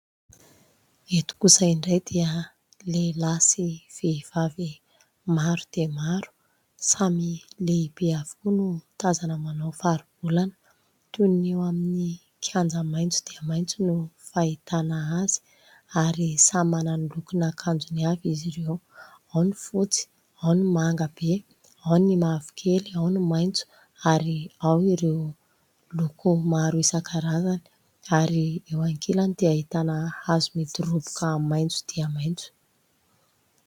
Eto kosa indray dia lehilahy sy vehivavy maro dia maro, samy lehibe avokoa no tazana manao faribolana. Toy ny eo amin'ny kianja maitso dia maitso no fahitana azy, ary samy manana ny lokon'akanjony avy izy ireo : ao ny fotsy, ao ny manga be, ao ny mavokely, ao ny maitso ary ao ireo loko maro isan-karazany. Ary eo ankilany dia ahitana hazo midoroboka maitso dia maitso.